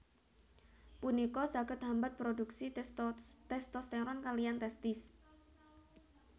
Punika saged hambat produksi testosteron kaliyan testis